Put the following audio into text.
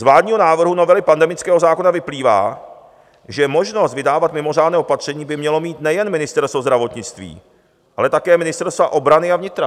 Z vládního návrhu novely pandemického zákona vyplývá, že možnost vydávat mimořádné opatření by mělo mít nejen Ministerstvo zdravotnictví, ale také ministerstva obrany a vnitra.